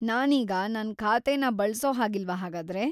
ನಾನೀಗ ನನ್ ಖಾತೆನ ಬಳ್ಸೋ ಹಾಗಿಲ್ವಾ ಹಾಗಾದ್ರೆ?